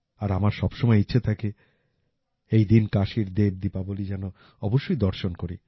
আর আমার সবসময় ইচ্ছে থাকে এই দিন কাশীর দেব দীপাবলি যেন অবশ্যই দর্শন করি